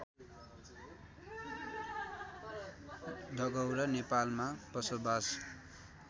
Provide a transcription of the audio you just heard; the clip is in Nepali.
डगौरा नेपालमा बसोबास